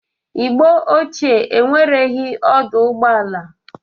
Igbo ochie enwereghi ọdụ ụgbọ ala.